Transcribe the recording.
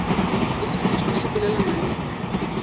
e swanetše go sepelelana le